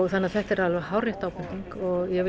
þannig að þetta er alveg hárrétt ábending og ég vil